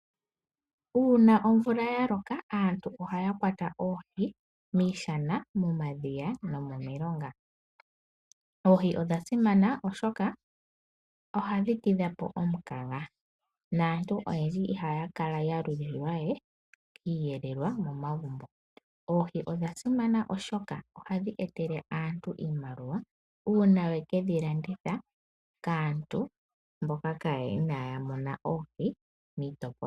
Uuna omvula ya loka aantu ohaya kwata oohi miishana, momadhiya nomomilonga. Oohi odha simana oshoka ohashi tidha po omukaga naantu ihaya kala we halulilwa kiiyilelwa kutya otaya tula po shike. Ohadhi vulu woo oku ka landithwa opo omuntu i imonene iisimpo ye.